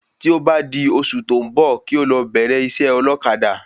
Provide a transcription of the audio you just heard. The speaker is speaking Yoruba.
Tí ó bá di oṣù tó ń bò kí o lọ bẹ̀rẹ̀ isẹ́ ọlọ́kadà